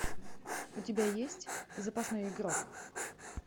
у тебя есть запасной игрок